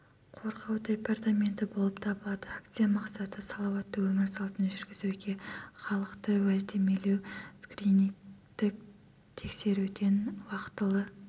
қорғау департаменті болып табылады акция мақсаты салауатты өмір салтын жүргізуге халықты уәждемелеу скринингтік тексеруден уақытылы